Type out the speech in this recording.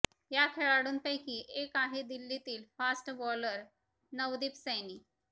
या खेळाडूंपैकी एक आहे दिल्लीतील फास्ट बॉलर नवदीप सैनी